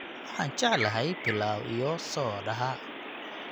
Waxaan jeclahay pilau iyo soodhaha